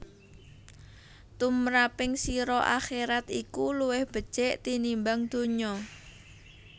Tumraping sira akherat iku luwih becik tinimbang donya